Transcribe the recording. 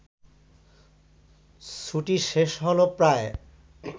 ছুটি শেষ হ’ল প্রায়